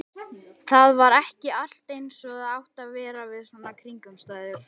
Það var ekki allt eins og það átti að vera við svona kringumstæður.